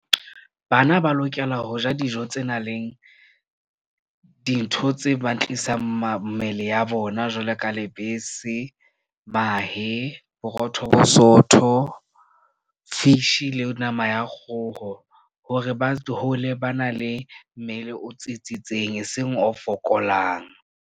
Bana ba lokela ho ja dijo tse nang le dintho tse ba tlisang mmele ya bona jwalo ka lebese, mahe, borotho bo sootho, fish-i le nama ya kgoho hore ba hole ba na le mmele o tsitsitseng, eseng o fokolang.